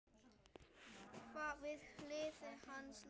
Við hlið hans lá sokkur.